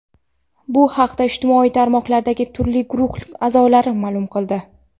Bu haqda ijtimoiy tarmoqlardagi turli guruhlar a’zolari ma’lum qildi.